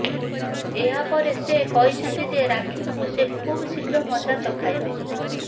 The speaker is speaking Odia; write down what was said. ଏହା ପରେ ସେ କହିଛନ୍ତି ଯେ ରାକ୍ଷୀଙ୍କୁ ସେ ଖୁବ ଶୀଘ୍ର ମଜା ଚଖାଇବେ